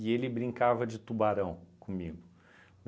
E ele brincava de tubarão comigo.